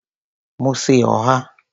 mo se oha.